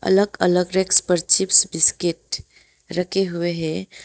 अलग अलग रैक्स पर चिप्स बिस्किट रखे हुए हैं।